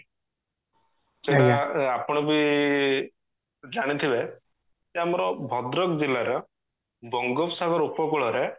ଆ ଆପଣ ବି ଜାଣିଥିବେ ଯେ ଆମର ଭଦ୍ରକ ଜିଲ୍ଲା ର ବଙ୍ଗୋପସାଗର ଉପକୂଳରେ